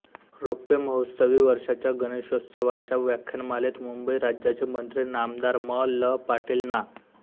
रौप्य महोत्सवी वर्षाच्या गणेशोत्सवाच्या व्याख्यानमालेत मुंबई राज्याचे मंत्री नामदार म ल पाटील ना